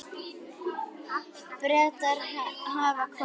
Bretar hafa kosið.